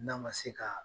N'a ma se ka